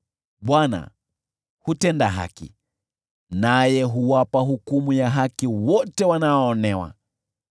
Bwana hutenda haki, naye huwapa hukumu ya haki wote wanaoonewa.